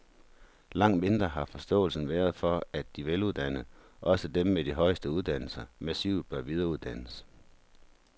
Langt mindre har forståelsen været for, at de veluddannede, også dem med de højeste uddannelser, massivt bør videreuddannes.